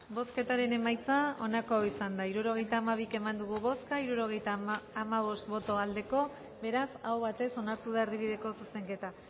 bozketaren emaitza onako izan da hirurogeita hamabi eman dugu bozka hirurogeita hamabost eman dugu bozka hirurogeita hamabost boto aldekoa beraz aho batez onartu da erdibideko zuzenketa